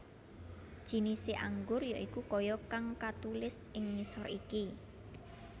Jinise anggur ya iku kaya kang katulis ing ngisor iki